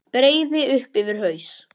Breiði upp yfir haus.